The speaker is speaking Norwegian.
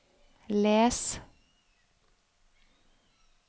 les